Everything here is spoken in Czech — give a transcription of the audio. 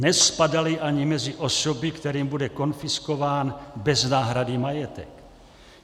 Nespadali ani mezi osoby, kterým bude konfiskován bez náhrady majetek.